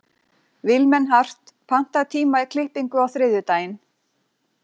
Vilmenhart, pantaðu tíma í klippingu á þriðjudaginn.